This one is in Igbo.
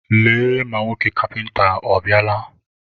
Lee ma nwoke kapịnta ọ bịala.